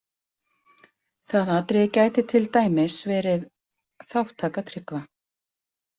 Það atriði gæti til dæmis verið þátttaka Tryggva.